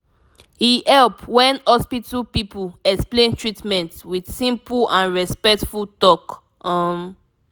e help when hospital people explain treatment with simple and respectful talk. um